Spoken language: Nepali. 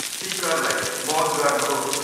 स्पिकरलाई मौन गर्नुहोस्।